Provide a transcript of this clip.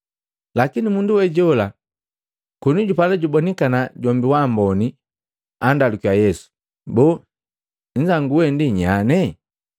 Lakini mundu we jola koni jupala jubonikana jombi wamboni, andalukiya Yesu, “Boo nnzangu wee ndi nyanye?”